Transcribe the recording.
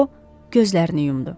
O, gözlərini yumdu.